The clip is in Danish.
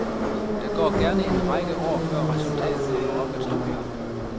Der går gerne en række år før resultatet kommer op at stå.